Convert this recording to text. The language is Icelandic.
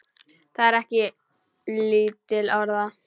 Það er ekki lítil orða!